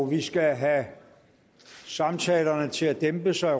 vi skal have samtalerne til at dæmpe sig